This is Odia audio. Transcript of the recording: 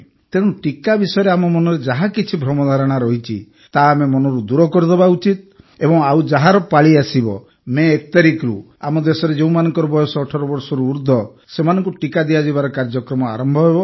ତେଣୁ ଟିକା ବିଷୟରେ ଆମ ମନରେ ଯାହା କିଛି ଭ୍ରମଧାରଣା ରହିଛି ତାହା ଆମେ ମନରୁ ଦୂର କରିଦେବା ଉଚିତ ଏବଂ ଆଉ ଯାହାର ପାଳି ଆସିବ ମଇ ୧ ତାରିଖରୁ ଆମ ଦେଶରେ ଯେଉଁମାନଙ୍କ ବୟସ ୧୮ ବର୍ଷରୁ ଉର୍ଦ୍ଧ୍ୱ ସେମାନଙ୍କୁ ଟିକା ଦିଆଯିବାର କାର୍ଯ୍ୟକ୍ରମ ଆରମ୍ଭ ହେବ